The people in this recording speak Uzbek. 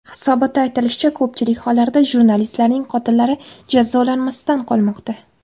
Hisobotda aytilishicha, ko‘pchilik hollarda jurnalistlarning qotillari jazolanmasdan qolmoqda.